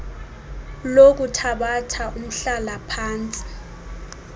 lokuthabatha umhlala phantsi